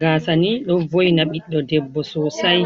gasa ni ɗo voina biɗdo debbo sosai.